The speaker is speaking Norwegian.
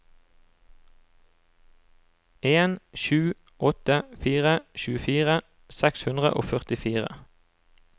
en sju åtte fire tjuefire seks hundre og førtifire